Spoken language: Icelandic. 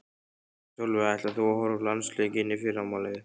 Sólveig: Ætlar þú að horfa á landsleikinn í fyrramálið?